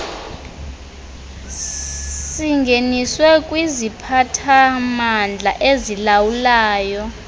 singeniswe kwiziphathamandla ezilawulayo